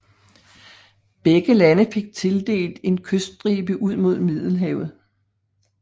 Begge lande fik tildelt en kyststribe ud mod Middelhavet